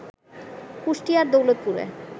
কুষ্টিয়ার দৌলতপুরে